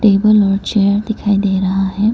Table और chair दिखाई दे रहा है।